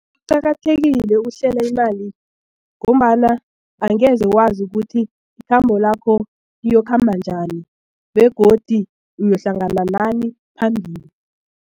Kuqakathekile ukuhlela imali ngombana angeze wazi ukuthi ikhambo lakho liyokhamba njani begodi uyohlangana nani phambili.